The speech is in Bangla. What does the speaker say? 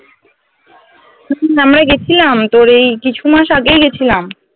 আমরা গেছিলাম তোর এই কিছু মাস আগেই গেছিলাম